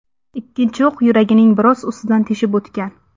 Ikkinchi o‘q yuragining biroz ustidan teshib o‘tgan.